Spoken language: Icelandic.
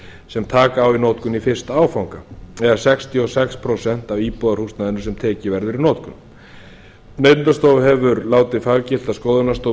sem taka á í notkun í fyrsta áfanga eða sextíu og sex prósent af íbúðarhúsnæðinu sem tekið verður í notkun neytendastofa hefur látið faggilta skoðunarstofu